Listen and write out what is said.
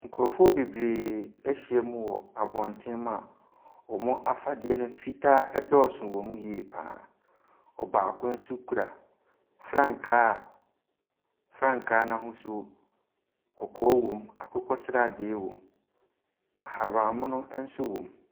Nkurɔfoɔ bebree ahyia mu wɔ abɔntene mu a wɔn afadeɛ no, fitaa dɔɔso wɔ mu yie pa ara. Baako nso kura frankaa a Frankaa no ahosuo, kɔkɔɔ wɔ mu, akokɔsradeɛ wɔ mu, ahabammono nso wɔ mu.